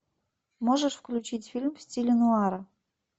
можешь включить фильм в стиле нуара